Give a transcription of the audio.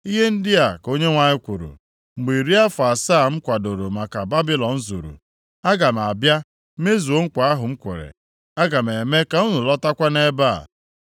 Ihe ndị a ka Onyenwe anyị kwuru, “Mgbe iri afọ asaa m kwadoro maka Babilọn zuru, aga m abịa mezuo nkwa ahụ m kwere. Aga m eme ka unu lọtakwa nʼebe a.